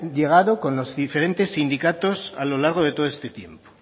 llegado con los diferentes sindicatos a lo largo de todo este tiempo